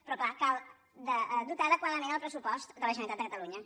però clar cal dotar adequadament el pressupost de la generalitat de catalunya